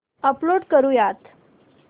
upload करुयात